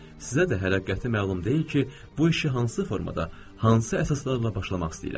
Sizə də hələ qəti məlum deyil ki, bu işi hansı formada, hansı əsaslarla başlamaq istəyirəm.